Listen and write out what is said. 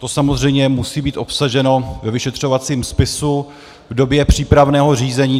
To samozřejmě musí být obsaženo ve vyšetřovacím spisu v době přípravného řízení.